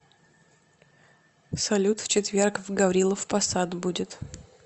салют в четверг в гаврилов посад будет